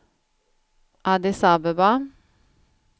Addis Abeba